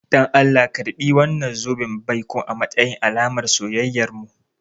Dan Allah karɓi wannan zoben baikon a matsayin alamar soyayyarmu.